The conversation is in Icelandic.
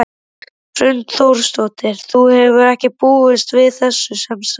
Hrund Þórsdóttir: Þú hefur ekki búist við þessu sem sagt?